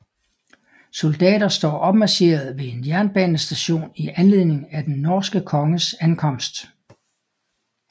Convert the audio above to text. Soldater står opmarcheret ved en jernbanestation i anledning af den norske konges ankomst